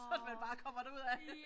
Så man bare kommer derudaf